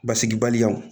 Basigibali